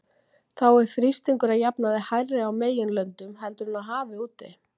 Þá er þrýstingur að jafnaði hærri á meginlöndum heldur en á hafi úti.